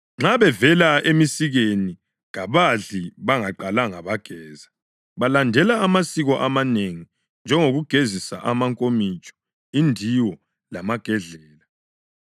Nxa bevela emsikeni kabadli bengaqalanga bageza. Balandela amasiko amanengi, njengokugezisa amankomitsho, indiwo lamagedlela.)